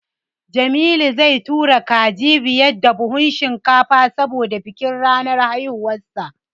Jamilu zai tura kaji biyar da buhun shinkafa saboda bikin ranar haihuwarsa.